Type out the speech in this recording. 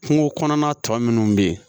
Kungo kɔnɔna tɔ minnu bɛ yen